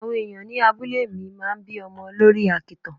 Awon ẹ̀yàn ni abúlé mi máa ń bí ọmọ lórí àkìtàn.